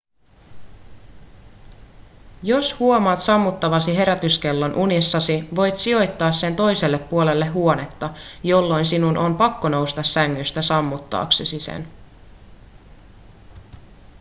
jos huomaat sammuttavasi herätyskellon unissasi voit sijoittaa sen toiselle puolelle huonetta jolloin sinun on pakko nousta sängystä sammuttaaksesi sen